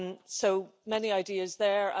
So, many ideas there.